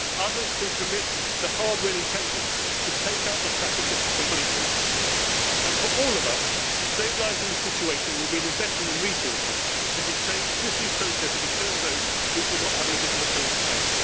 traffickers. Others can commit the hardware intelligence to take out the traffickers completely, and for all of us stabilising the situation will mean investing in resources to detain, swiftly process and return those who do not have a legitimate